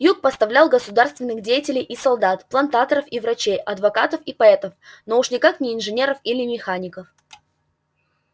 юг поставлял государственных деятелей и солдат плантаторов и врачей адвокатов и поэтов но уж никак не инженеров или механиков